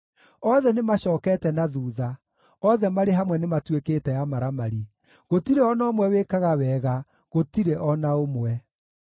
Othe nĩmacookete na thuutha, othe marĩ hamwe nĩmatuĩkĩte amaramari; gũtirĩ o na ũmwe wĩkaga wega, gũtirĩ o na ũmwe.